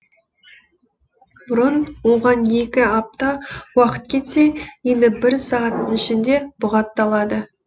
бұрын оған екі апта уақыт кетсе енді бір сағаттың ішінде бұғатталады